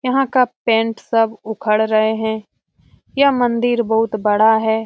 यहां का पेंट सब उखड़ रहे हैं यह मंदिर बहुत बड़ा है।